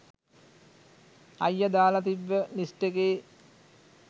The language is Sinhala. අයියා දාලා තිබ්බ ලිස්ට් එකේ